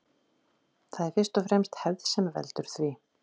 Það er fyrst og fremst hefð sem veldur því.